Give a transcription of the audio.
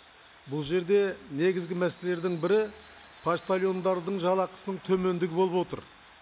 бұл жерде негізгі мәселелердің бірі поштальондардың жалақысының төмендігі болып отыр